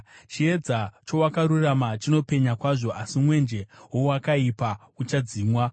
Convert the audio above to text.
Chiedza cheakarurama chinopenya kwazvo; asi mwenje woakaipa uchadzimwa.